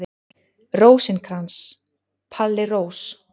Rósinkrans, Palli Rós.